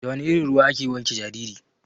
Da wana irin ruwa ake wanke jariri?